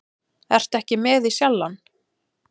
Ertu ekki með í Sjallann?